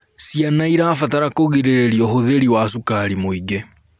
Ciana irabatara kugiriririo ũhũthĩri wa cukari mũingĩ